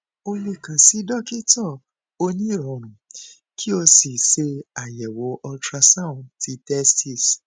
o le kan si dokita onirọrùn ki o si ṣe ayẹwo ultrasound ti testis